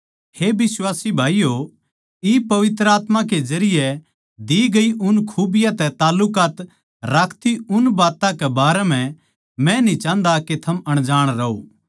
हे बिश्वासी भाईयो इब पवित्र आत्मा के जरिये दी गई उन खुबियाँ तै तालुकात राखती उन बात्तां के बारें म्ह मै न्ही चाहन्दा के थम अनजाण रहो